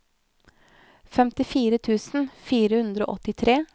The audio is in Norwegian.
femtifire tusen fire hundre og åttitre